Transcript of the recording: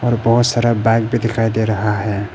और बहुत सारा बैक भी दिखाई दे रहा है।